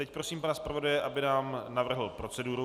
Teď prosím pana zpravodaje, aby nám navrhl proceduru.